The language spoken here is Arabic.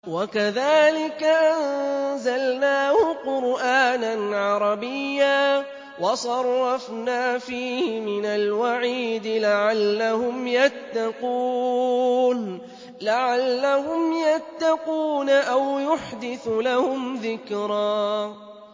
وَكَذَٰلِكَ أَنزَلْنَاهُ قُرْآنًا عَرَبِيًّا وَصَرَّفْنَا فِيهِ مِنَ الْوَعِيدِ لَعَلَّهُمْ يَتَّقُونَ أَوْ يُحْدِثُ لَهُمْ ذِكْرًا